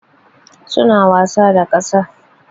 Suna wasa da ƙasa.